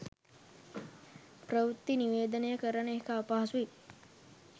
ප්‍රවෘත්ති නිවේදනය කරන එක අපහසුයි.